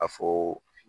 A fɔ